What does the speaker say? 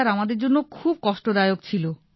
sir আমাদের জন্য খুবই কষ্টদায়ক ছিল